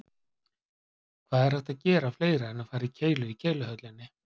Hvað er hægt að gera fleira en fara í keilu í Keiluhöllinni?